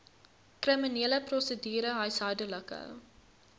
kriminele prosedure huishoudelike